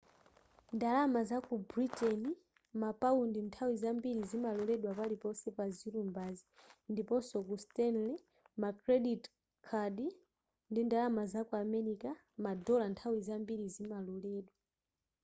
ndalama zaku britain mapaundi nthawi zambiri zimaloredwa paliponse pa zilumbazi ndiponso ku stanley ma credit card ndi ndalama zaku america ma dollar nthawi zambiri zimaloredwa